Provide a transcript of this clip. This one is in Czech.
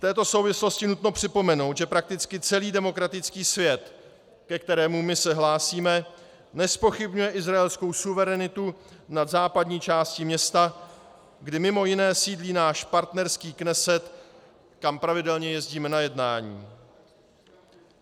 V této souvislosti nutno připomenout, že prakticky celý demokratický svět, ke kterému my se hlásíme, nezpochybňuje izraelskou suverenitu nad západní částí města, kde mimo jiné sídlí náš partnerský Kneset, kam pravidelně jezdíme na jednání.